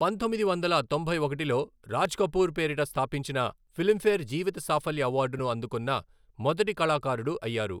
పంతొమ్మిది వందల తొంభై ఒకటిలో, రాజ్ కపూర్ పేరిట స్థాపించిన ఫిల్మ్ఫేర్ జీవిత సాఫల్య అవార్డును అందుకున్న మొదటి కళాకారుడు అయ్యారు.